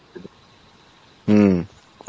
হম